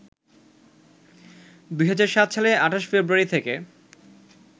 ২০০৭ সালের ২৮ ফেব্রুয়ারি থেকে